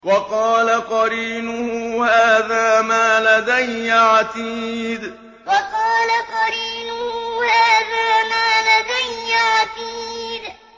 وَقَالَ قَرِينُهُ هَٰذَا مَا لَدَيَّ عَتِيدٌ وَقَالَ قَرِينُهُ هَٰذَا مَا لَدَيَّ عَتِيدٌ